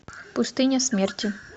пустыня смерти